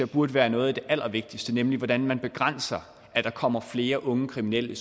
burde være noget af det allervigtigste er nemlig hvordan man begrænser at der kommer flere unge kriminelle